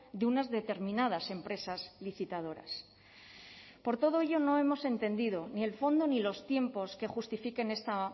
de unas determinadas empresas licitadoras por todo ello no hemos entendido ni el fondo ni los tiempos que justifiquen esta